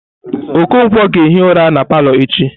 Okonkwo ga-ehi ụra na palọ echi.